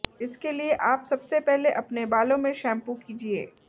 इसके लिए आप सबसे पहले अपने बालों में शैम्पू कीजिए